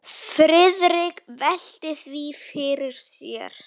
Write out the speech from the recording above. Friðrik velti því fyrir sér.